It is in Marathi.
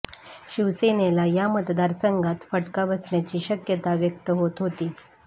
शिवसेनेला या मतदारसंघात फटका बसण्याची शक्यता व्यक्त होत होती